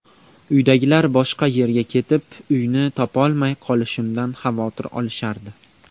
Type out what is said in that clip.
Uydagilar boshqa yerga ketib, uyni topolmay qolishimdan xavotir olishardi.